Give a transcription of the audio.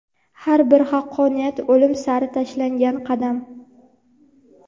Har bir haqqoniyat o‘lim sari tashlangan qadam.